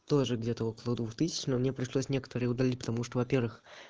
тоже где-то около двух тысяч но мне просто пришлось некоторые удалить потому что во-первых